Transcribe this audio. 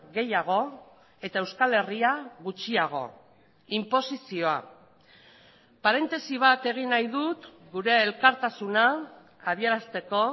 gehiago eta euskal herria gutxiago inposizioa parentesi bat egin nahi dut gure elkartasuna adierazteko